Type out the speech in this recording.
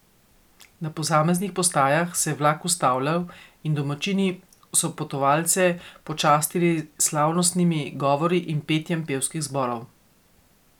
Na posameznih postajah se je vlak ustavljal in domačini so potovalce počastili s slavnostnimi govori in petjem pevskih zborov.